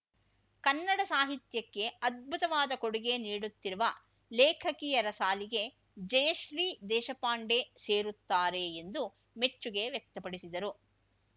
ಕನ್ನಡ ಸಾಹಿತ್ಯಕ್ಕೆ ಅದ್ಭುತವಾದ ಕೊಡುಗೆ ನೀಡುತ್ತಿರುವ ಲೇಖಕಿಯರ ಸಾಲಿಗೆ ಜಯಶ್ರೀ ದೇಶಪಾಂಡೆ ಸೇರುತ್ತಾರೆ ಎಂದು ಮೆಚ್ಚುಗೆ ವ್ಯಕ್ತಪಡಿಸಿದರು